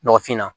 Nɔgɔfin na